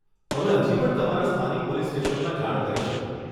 તમે હજી પણ તમારા સ્થાનિક પોલીસ સ્ટેશનમાં જાણ કરી શકો.